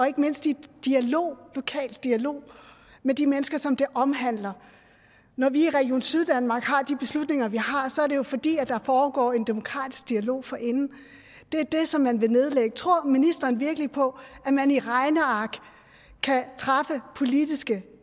og ikke mindst i lokal dialog med de mennesker som det omhandler når vi i region syddanmark har de beslutninger vi har så er det jo fordi der foregår en demokratisk dialog forinden det er det som man vil nedlægge tror ministeren virkelig på at man i regneark kan træffe politiske